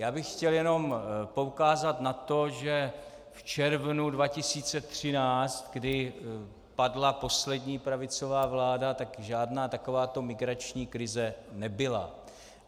Já bych chtěl jenom poukázat na to, že v červnu 2013, kdy padla poslední pravicová vláda, tak žádná takováto migrační krize nebyla.